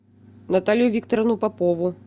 наталью викторовну попову